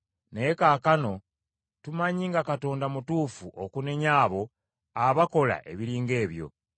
Naye kaakano, tumanyi nga Katonda mutuufu okunenya abo abakola ebiri ng’ebyo.